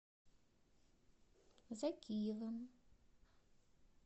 закиевым